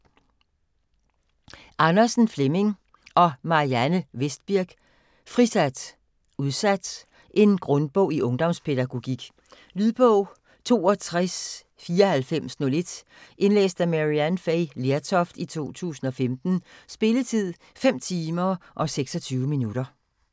Andersen, Flemming og Marianne Vestbirk: Frisat - udsat En grundbog i ungdomspædagogik. Lydbog 629401 Indlæst af Maryann Fay Lertoft, 2015. Spilletid: 5 timer, 26 minutter.